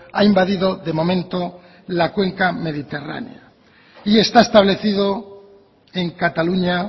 ha invadido de momento la cuenca mediterránea y está establecido en cataluña